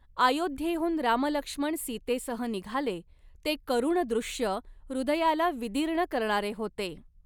अयोध्येहून रामलक्ष्मण सीतेसह निघाले ते करुण दृश्य हृदयाला विदीर्ण करणारे होते.